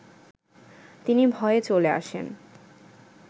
তিনি ভয়ে চলে আসেন